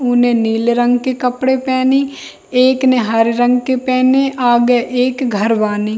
उ ने नीले रंग के कपड़े पहनी एक ने हरे रंग के पहने आगे एक घर वानी।